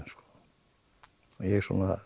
mér